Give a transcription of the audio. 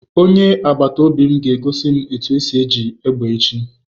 Onye agbata obi m ga egosi m otu esi eji egbe echi